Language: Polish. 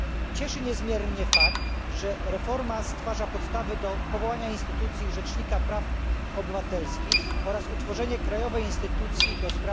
Cieszy niezmiernie fakt, że reforma stwarza podstawy do powołania instytucji Rzecznika Praw Obywatelskich oraz utworzenia krajowej instytucji ds.